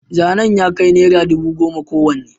zanen ya kai naira dubu goma kowanne